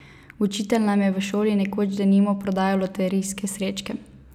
Učitelj nam je v šoli nekoč denimo prodajal loterijske srečke.